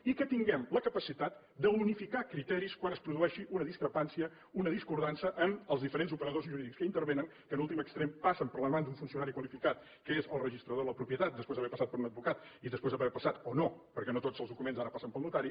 i que tinguem la capacitat d’unificar criteris quan es produeixi una discrepància una discordança en els diferents operadors jurídics que hi intervenen que en últim extrem passen per les mans d’un funcionari qualificat que és el registrador de la propietat després d’haver passat per un advocat i després d’haver passat o no perquè no tots els documents ara passen pel notari